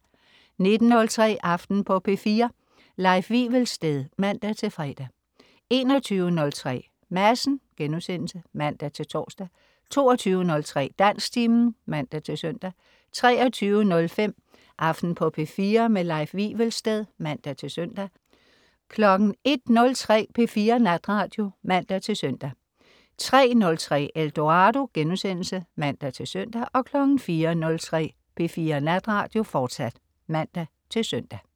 19.03 Aften på P4. Leif Wivelsted (man-fre) 21.03 Madsen* (man-tors) 22.03 Dansktimen (man-søn) 23.05 Aften på P4. Leif Wivelsted (man-søn) 01.03 P4 Natradio (man-søn) 03.03 Eldorado* (man-søn) 04.03 P4 Natradio, fortsat (man-søn)